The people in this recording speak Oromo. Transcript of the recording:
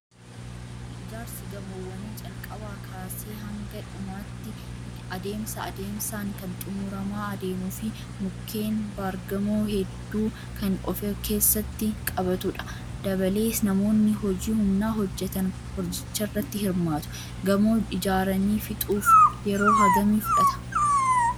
Ijaarsi gamoowwanii calqabaa kaasee haga dhumaatti adeemsa adeemsaan kan xumuramaa adeemuu fi mukkeen baargamoo hedduu kan of keessatti qabatudha. Dabalees namoonni hojii humnaa hojjatan hojicharratti hirmaatu. Gamoo ijaaranii fixuuf yeroo hagamii fudhata?